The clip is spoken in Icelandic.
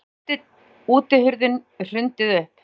Enn var útihurðinni hrundið upp.